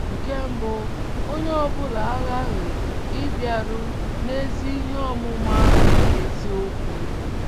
Nke mbụ, onye ọ bụla aghaghị ‘ ịbịaru n' ezi ihe ọmụma nke eziokwu. ’